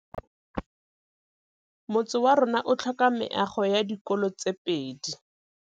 Motse warona o tlhoka meago ya dikolô tse pedi.